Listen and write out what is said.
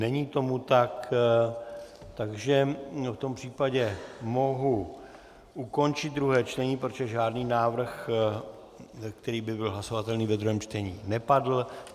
Není tomu tak, takže v tom případě mohu ukončit druhé čtení, protože žádný návrh, který by byl hlasovatelný ve druhém čtení, nepadl.